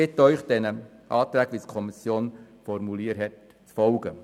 Ich bitte Sie, den Anträgen so, wie es die Kommission formuliert hat, zu folgen.